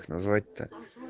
звать-то